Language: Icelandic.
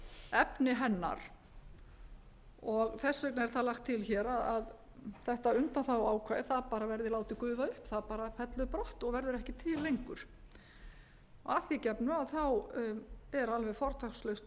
efni hennar þess vegna er það lagt til hér að þetta undanþáguákvæði það bara verði látið gufa upp það bara fellur brott og verður ekki til lengur að því gefnu þá er alveg fortakslaust bann